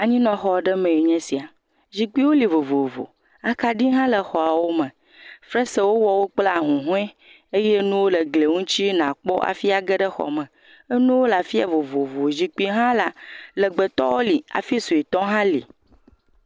Anyinɔxɔ ɖe mee nye esia, zikpuiwo li vovovo, akaɖi hã le xɔawo me, fesre wowɔ wo kple ahuhɔe eye nuwo le glie ŋuti nàkpɔ hafi age ɖe xɔ me, enuwo afi ya vovovo, zikpui hã la, legbetɔwo hafi sɔetɔwo hã li.